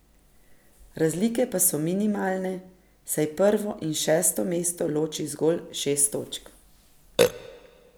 Razlike pa so minimalne, saj prvo in šesto mesto loči zgolj šest točk.